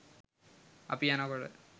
අපි යනකොට